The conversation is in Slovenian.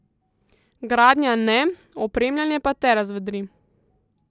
Gradnja ne, opremljanje pa te razvedri.